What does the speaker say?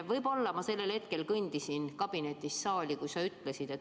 Võib-olla ma kõndisin sellel hetkel kabinetist saali, kui sa seda ütlesid.